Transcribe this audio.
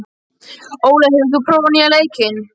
Ólafur, hefur þú prófað nýja leikinn?